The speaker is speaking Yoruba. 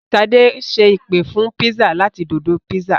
Ṣadé ṣe ìpè fún pizza láti Dodo pizza.